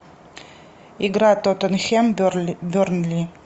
игра тоттенхэм бернли